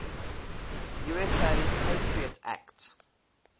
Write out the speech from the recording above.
usa patriot act